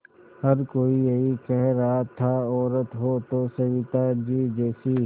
हर कोई यही कह रहा था औरत हो तो सविताजी जैसी